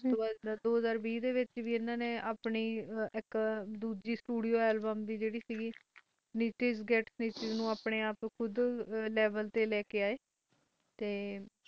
ਉਸਤੋਂ ਬਾਦ ਦੋ ਹਾਜਰ ਵੀ ਵਿਚ ਵੀ ਇਹ ਨੇ ਆਪਣੀ ਦੂਜੀ studio album snitches get stitches ਆਪਣੇ ਆਪ ਨੂੰ ਕੂੜ ਲੈਵਲ ਤੇ ਲਈ ਕਈ ਆਈ